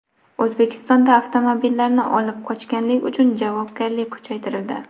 O‘zbekistonda avtomobillarni olib qochganlik uchun javobgarlik kuchaytirildi .